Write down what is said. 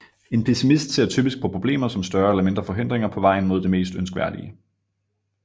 En pessimist ser typisk på problemer som større eller mindre forhindringer på vejen mod det mest ønskværdige